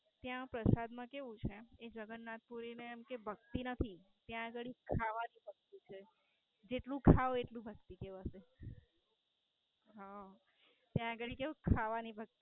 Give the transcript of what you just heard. ત્યાં પ્રસાદ માં કેવું છે ત્યાં જગન્નાથપુરી ને ભક્તિ નથી ત્યાં ખાવાની ભક્તિ છે જેટલું ખાવ એટલી ભક્તિ કહેવાશે. ત્યાં ગાળી કેવું ખાવાની ભક્તિ